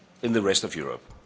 the rest of Europe.